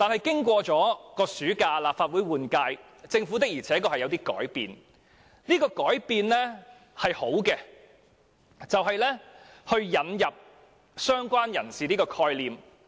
經過暑假後，立法會換屆，政府確實有所改變，而且是好的改變，就是引入了"相關人士"的概念。